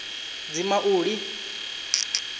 dzimauli